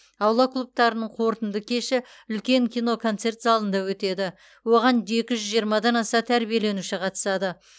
аула клубтарының қорытынды кеші үлкен киноконцерт залында өтеді оған екі жүз жиырмадан аса тәрбиеленуші қатысады